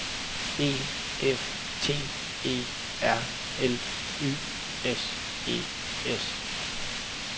E F T E R L Y S E S